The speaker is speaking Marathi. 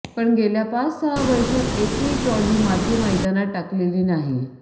पण गेल्या पाच सहा वर्षात एकही ट्रॉली माती मैदानात टाकलेली नाही